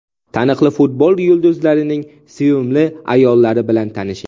Taniqli futbol yulduzlarining sevimli ayollari bilan tanishing .